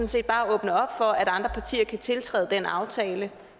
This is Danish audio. set bare åbne op for at andre partier kan tiltræde den aftale